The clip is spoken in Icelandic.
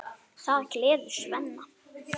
Það gleður Svenna.